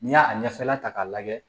N'i y'a ɲɛfɛla ta k'a lajɛ